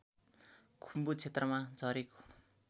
खुम्बु क्षेत्रमा झरेको